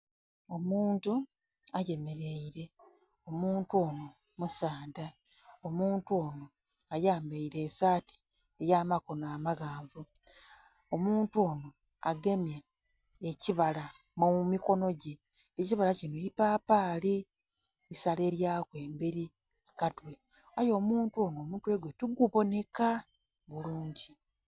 Omuntu ayemeleire, omuntu ono musaadha, omuntu ono ayambaire esaati ey'amakono amaghanvu, omuntu ono agemye ekibala mu mikono gye, ekibala kino ipapaali isalelyaku emberi ku katwe, aye omuntu ono omutwe gwe tiguboneka bulungi.